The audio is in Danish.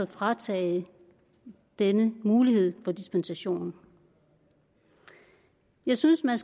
fratage denne mulighed for dispensation jeg synes man